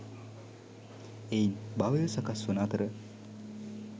එයින් භවය සකස් වන අතර